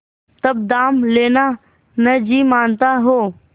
तब दाम लेना न जी मानता हो